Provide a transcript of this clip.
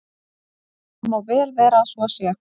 Það má vel vera að svo sé.